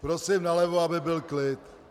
Prosím nalevo, aby byl klid.